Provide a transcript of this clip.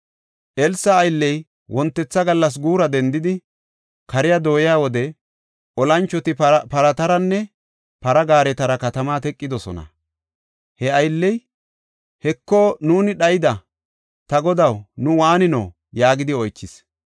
Elsa aylley wontetha gallas guura dendidi, kare keyiya wode, olanchoti parataranne para gaaretara katamaa teqidosona. He aylley, “Heko, nuuni dhayida! Ta godaw, nu waanino?” yaagidi oychis.